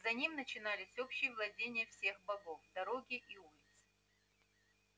за ним начинались общие владения всех богов дороги и улицы